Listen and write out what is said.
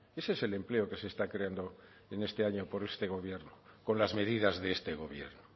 ese es el empleo que se está creando en este año por este gobierno con las medidas de este gobierno